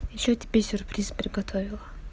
ещё тебе сюрприз приготовила